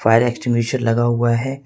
Fire extinguisher लगा हुआ है।